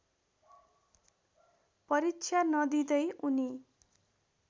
परीक्षा नदिँदै उनी